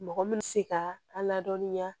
Mɔgɔ min bɛ se ka a ladɔnniya